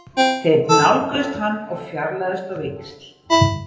Þeir nálguðust hann og fjarlægðust á víxl.